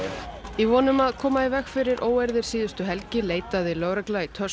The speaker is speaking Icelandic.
í von um að koma í veg fyrir óeirðir síðustu helgi leitaði lögregla í